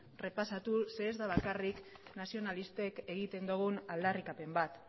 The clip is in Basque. errepasatu zeren eta ez da bakarrik nazionalistek egiten dugun aldarrikapen bat